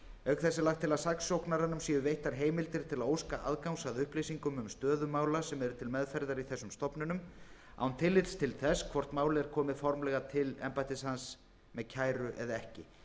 auk þess er lagt til að saksóknaranum séu veittar heimildir til að óska aðgangs að upplýsingum um stöðu mála sem til meðferðar eru í þessum stofnunum án tillits til þess hvort mál er komið formlega til embættis hans með kæru eða ekki